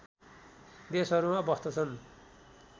देशहरूमा बस्तछन्